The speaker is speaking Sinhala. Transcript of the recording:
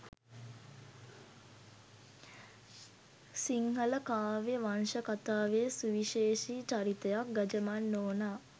සිංහල කාව්‍ය වංශකථාවේ සුවිශේෂී චරිතයක් ගජමන් නෝනා